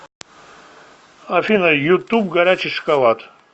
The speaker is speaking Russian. афина ютуб горячий шоколад